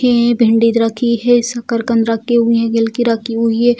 के भिंडी रखी है सकरकंद रखे हुए हैं रखी हुई है।